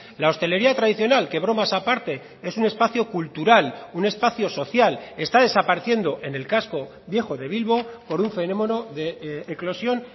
la hostelería tradicional que bromas aparte es un espacio cultural un espacio social está desapareciendo en el casco viejo de bilbo por un fenómeno de eclosión